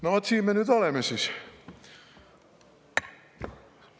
No vot siin me nüüd oleme siis.